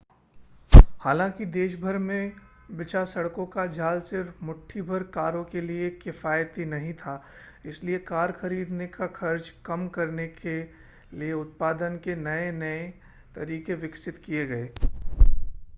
हालांकि देशभर में बिछा सड़कों का जाल सिर्फ़ मुट्ठीभर कारों के लिए किफ़ायती नहीं था इसलिए कार खरीदने का खर्च कम करने क लिए उत्पादन के नए-नए तरीके विकसित किए गए